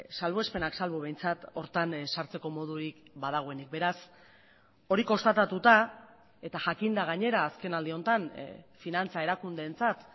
salbuespenak salbu behintzat horretan sartzeko modurik badagoenik beraz hori konstatatuta eta jakinda gainera azkenaldi honetan finantza erakundeentzat